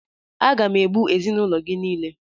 Aga m egbu ezinaụlọ gị niile!